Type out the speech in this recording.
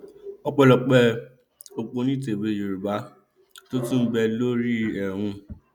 ọpẹlọpẹ ọpọnìtẹwé yorùbá tó tún ń bẹ lórí ẹ òun